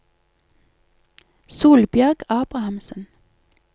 Solbjørg Abrahamsen